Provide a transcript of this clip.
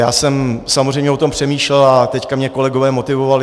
Já jsem samozřejmě o tom přemýšlel a teď mě kolegové motivovali.